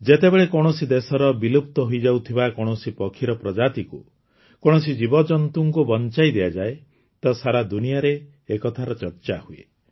ଯେତେବେଳେ କୌଣସି ଦେଶର ବିଲୁପ୍ତ ହୋଇଯାଉଥିବା କୌଣସି ପକ୍ଷୀର ପ୍ରଜାତିକୁ କୌଣସି ଜୀବଜନ୍ତୁଙ୍କୁ ବଞ୍ଚାଇ ଦିଆଯାଏ ତ ସାରା ଦୁନିଆରେ ଏକଥାର ଚର୍ଚ୍ଚା ହୁଏ